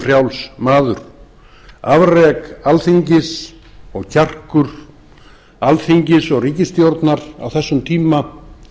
frjáls maður afrek alþingis og kjarkur alþingis og ríkisstjórnar á þessum tíma